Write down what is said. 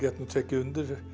nú tekið undir